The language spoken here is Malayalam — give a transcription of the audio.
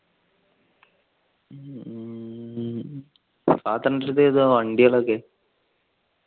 father ന്റെ അടുത്ത് ഏതാ വണ്ടികൾ ഒക്കെ.